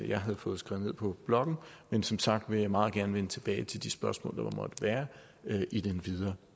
jeg havde fået skrevet ned på blokken men som sagt vil jeg meget gerne vende tilbage til de spørgsmål der måtte være i den videre